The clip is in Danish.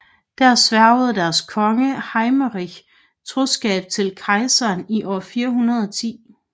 Der sværgede deres konge Hermeric troskab til kejseren i år 410